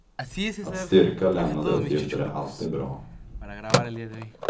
Att styrka lämnade uppgifter är alltid bra.